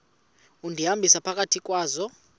undihambisa phakathi kwazo